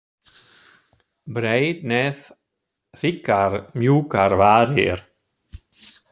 Breitt nef og þykkar, mjúkar varir.